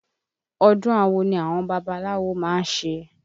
Ọdún awo ni àwọn babaláwo má ń ṣe